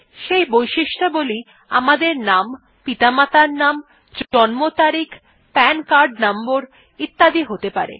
সেই বৈশিষ্ট্যাবলী আমাদের নাম পিতামাতার নাম জন্ম তারিখ পান কার্ড নম্বর ইত্যাদি হতে পারে